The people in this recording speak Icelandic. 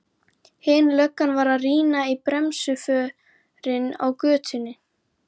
Hin löggan var að rýna í bremsuförin á götunni.